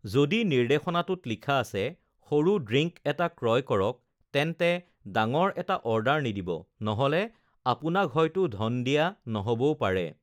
"যদি নিৰ্দেশনাটোত লিখা আছে, ""সৰু ড্ৰিংক এটা ক্ৰয় কৰক"" তেন্তে ডাঙৰ এটা অৰ্ডাৰ নিদিব, নহ'লে আপোনাক হয়তো ধন দিয়া নহ'বও পাৰে!"